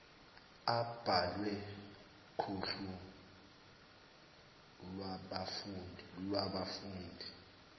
abhalwe kuhlu lwabafundi